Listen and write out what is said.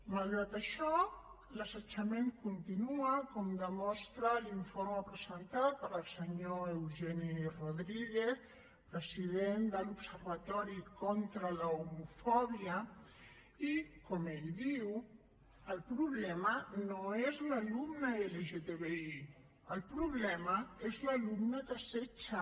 malgrat això l’assetjament continua com demostra l’informe presentat pel senyor eugeni rodríguez president de l’observatori contra l’homofòbia i com ell diu el problema no és l’alumne lgtbi el problema és l’alumne que assetja